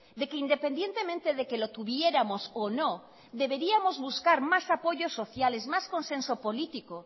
de que independientemente de que lo tuviéramos o no deberíamos buscar más apoyos sociales más consenso político